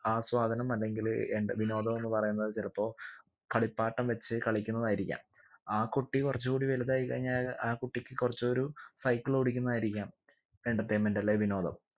ആസ്വാദനം അല്ലെങ്കില് എന്റെ വിനോദം എന്ന് പറയുന്നത് ചിലപ്പോ കളിപ്പാട്ടം വെച്ച് കളിക്കുന്നതായിരിക്കാം ആ കുട്ടി കുറച്ചു കൂടി വലുതായി കഴിഞ്ഞാ ആ കുട്ടിക്ക് കുറച്ചൊരു cycle ഓടിക്കുന്നതായിരിക്കാം entertainment അല്ലെ വിനോദം